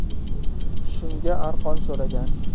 Shunga arqon so‘ragan.